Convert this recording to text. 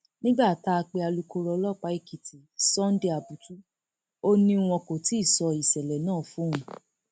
nígbà tá a pe alūkkoro ọlọpàá èkìtì sunday abutu ó ní wọn kò tí ì sọ ìṣẹlẹ náà fóun